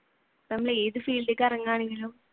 നമ്മൾ ഏതു field ലേക്ക് ഇറങ്ങുകയാണെങ്കിലും